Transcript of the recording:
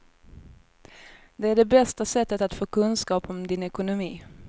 Det är det bästa sättet att få kunskap om din ekonomi.